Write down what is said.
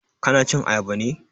Ka na cin ayaba ne?